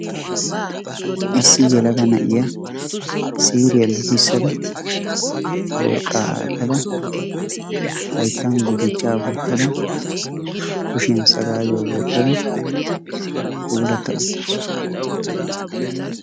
issi yelaga na'iya siiriya lukkisada worqaa aatada haytan gutuchchaa wotada kushiya sagaayuwa wotada puulata utaasu.